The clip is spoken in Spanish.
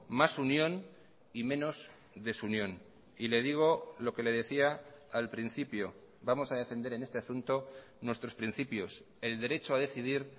más unión y menos desunión y le digo lo que le decía al principio vamos a defender en este asunto nuestros principios el derecho ha decidir